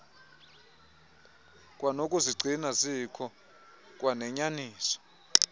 kwanokuzigcina zikho kwanenyaniso